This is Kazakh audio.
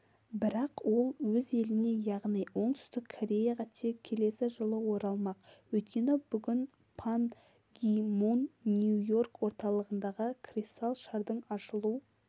бірақ ол өз еліне яғни оңтүстік кореяға тек келесі жылы оралмақ өйткені бүгін пан ги мун нью-йорк орталығындағы кристал шардың ашылу